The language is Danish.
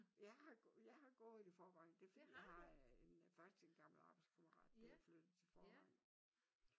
Jeg har jeg har gået i Vorrevangen det er fordi jeg har faktisk en gammel arbejdskammerat der er flyttet til Vorrevangen